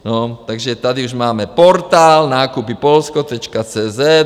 No, takže tady už máme portál nakupy-polsko.cz